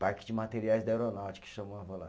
Parque de materiais da aeronáutica, que chamava lá.